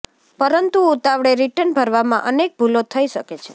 પરંતુ ઉતાવળે રિટર્ન ભરવામાં અનેક ભૂલો થઇ શકે છે